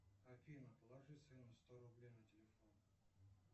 афина положи сыну сто рублей на телефон